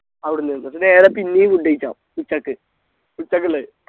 അവിടുന്ന് എന്നിട്ട് നേരെ പിന്നെയും food കഴിക്കാം ഉച്ചക്ക് ഉച്ചക്ക്ള്ളത്